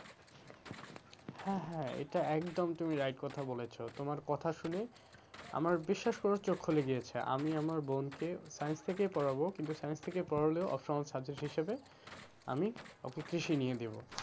হ্যাঁ, হ্যাঁ এটা একদম তুমি right কথা বলেছো, তোমার কথা শুনে আমার বিশ্বাস করো চোখ খুলে গিয়েছে, আমি আমার বোনকে science থেকেই পড়াবো, কিন্তু science থেকে পড়ালেও optional subject হিসাবে আমি ওকে কৃষি নিয়ে দেবো।